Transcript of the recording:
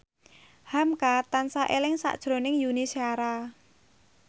hamka tansah eling sakjroning Yuni Shara